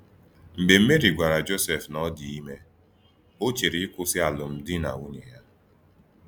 Mgbe Meri gwara Josef na ọ dị ime, o chere ịkwụsị alụmdi na nwunye ha.